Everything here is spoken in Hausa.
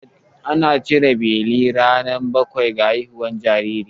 Ana cire beli ranar bakwai da haihuwar jinjiri.